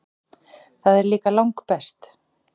Það er líka langbest.